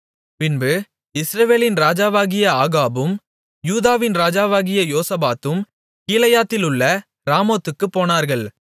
பின்பு இஸ்ரவேலின் ராஜாவாகிய ஆகாபும் யூதாவின் ராஜாவாகிய யோசபாத்தும் கீலேயாத்திலுள்ள ராமோத்துக்குப் போனார்கள்